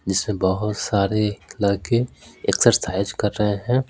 जिसमें बहुत सारे लड़के एक्सरसाइज कर रहे हैं।